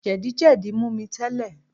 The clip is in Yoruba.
Jẹ̀díjẹdí mú mi tẹ́lẹ̀